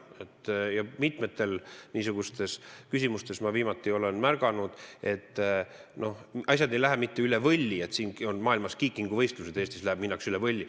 Ma olen hiljuti märganud, et mitmes küsimuses ei lähe asjad mitte lihtsalt üle võlli, vaid siin on maailmameistrivõistlused kiikingus, Eestis minnakse niivõrd üle võlli.